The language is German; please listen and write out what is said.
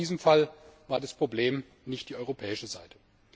Ich glaube, in diesem Fall war das Problem nicht die europäische Seite.